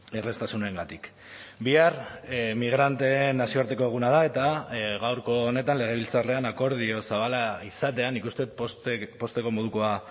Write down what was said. erraztasunengatik bihar migranteen nazioarteko eguna da eta gaurko honetan legebiltzarrean akordio zabala izatea nik uste dut pozteko modukoa